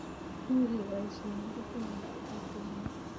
Much keboishe kerichek ab tutuinik